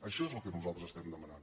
això és el que nosaltres demanem